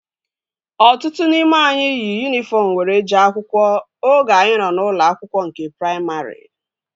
Ọtụtụ n'ime anyị yi yunifọm were jee akwụkwọ oge anyị nọ n'ụlọ akwụkwọ nke praimarị